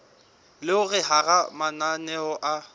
le hore hara mananeo a